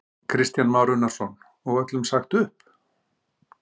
Kristján Már Unnarsson: Og öllum sagt upp?